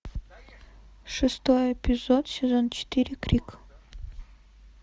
шестой эпизод сезон четыре крик